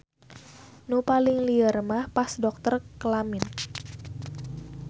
Nu paling lieur mah pas dokter kelamin.